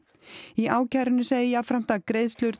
í ákærunni segir jafnframt að greiðslur